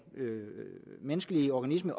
menneskelige organisme